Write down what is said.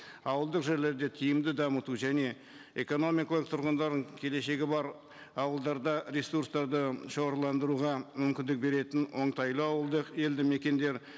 ауылдық жерлерді тиімді дамыту және экономикалық тұрғындардың келешегі бар ауылдарда ресурстарды шоғырландыруға мүмкіндік беретін оңтайлы ауылдық елді мекендер